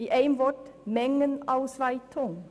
Mit einem Wort gesagt: Mengenausweitung.